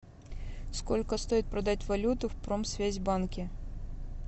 сколько стоит продать валюту в промсвязьбанке